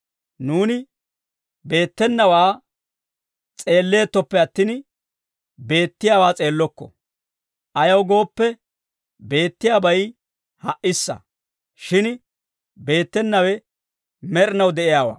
Nuuni beettenawaa s'eelleettoppe attin, beettiyaawaa s'eellokko; ayaw gooppe, beettiyaabay ha"issa; shin beettenawe med'inaw de'iyaawaa.